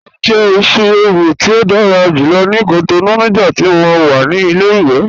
Mọ jẹ̀ ìṣí-èwù ti o dára júlọ̀ ni Cotonou nigbàtí mó wà ni ilẹ̀-iwe